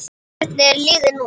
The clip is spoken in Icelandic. Hvernig er liðið núna?